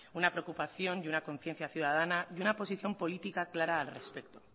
una preocupación y una conciencia ciudadana y una posición política clara al respecto